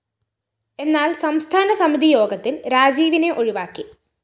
എന്നാല്‍ സംസ്ഥാനസമിതി യോഗത്തില്‍ രാജീവിനെ ഒഴിവാക്കി